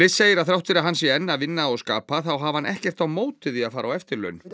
segir að þrátt fyrir að hann sé enn að vinna og skapa þá hafi hann ekkert á móti því að fara á eftirlaun